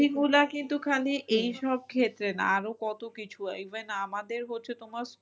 দুর্নীতি গুলা কিন্তু খালি এইসব ক্ষেত্রে না আরো কত কিছু even আমাদের হচ্ছে তোমার